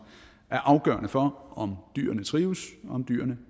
er afgørende for om dyrene trives og om dyrene